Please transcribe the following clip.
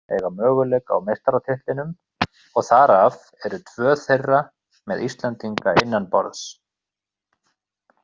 Þrjú lið eiga möguleika á meistaratitlinum og þar af eru tvö þeirra með Íslendinga innanborðs.